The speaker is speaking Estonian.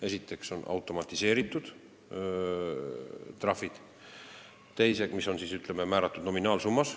Esiteks on automatiseeritud trahvid, mis määratakse nominaalsummas.